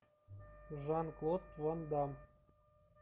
жан клод ван дамм